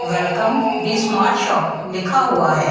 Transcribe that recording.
Welcome the smart shop लिखा हुआ है।